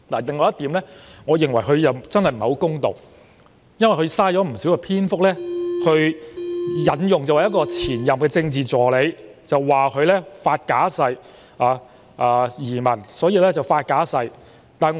另外，我認為他真的不是太公道，因為他浪費了不少篇幅引述前任政治助理的例子，指她為了移民而發假誓。